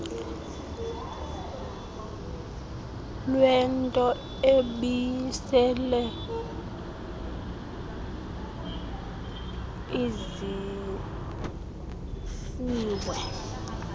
lwento ebisele izisiwe